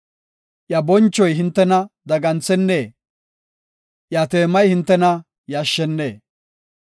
Iya bonchoy hintena daganthennee? Iya teemay hintena yashshennee?